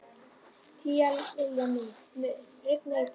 Tíalilja, mun rigna í dag?